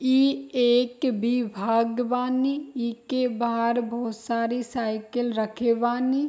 ई एक विभाग बानी। इके बाहर बहुत सारी साइकिल रखे बानी।